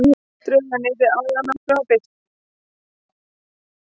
Drög að nýrri aðalnámskrá birt